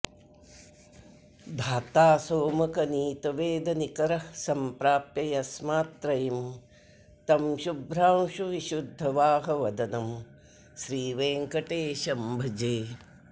धाता सोमकनीतवेदनिकरः सम्प्राप यस्मात्त्रयीं तं शुभ्रांशुविशुद्धवाहवदनं श्रीवेङ्कटेशं भजे